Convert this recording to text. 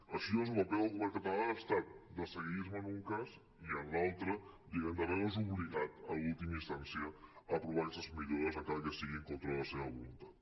així doncs el paper del govern català ha estat de seguidisme en un cas i en l’altre diguem ne de veure’s obligat en última instància a aprovar aquestes millores encara que sigui en contra de la seva voluntat